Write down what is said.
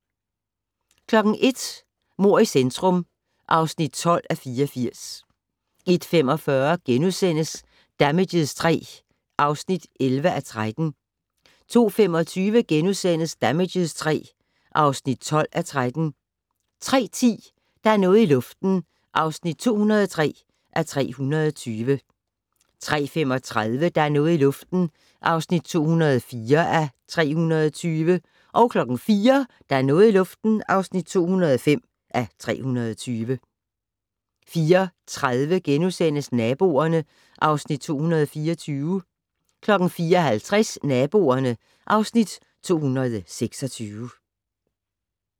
01:00: Mord i centrum (12:84) 01:45: Damages III (11:13)* 02:25: Damages III (12:13)* 03:10: Der er noget i luften (203:320) 03:35: Der er noget i luften (204:320) 04:00: Der er noget i luften (205:320) 04:30: Naboerne (Afs. 224)* 04:50: Naboerne (Afs. 226)